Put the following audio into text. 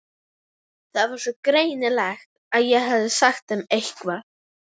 Það var sko greinilegt að ég hefði sagt þeim eitthvað.